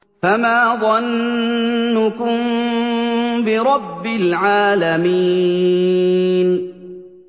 فَمَا ظَنُّكُم بِرَبِّ الْعَالَمِينَ